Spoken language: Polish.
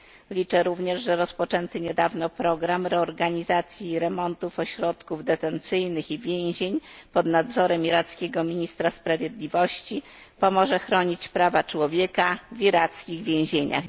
Liczę również, że rozpoczęty niedawno program reorganizacji i remontów ośrodków detencyjnych i więzień pod nadzorem irackiego ministra sprawiedliwości pomoże chronić prawa człowieka w irackich więzieniach.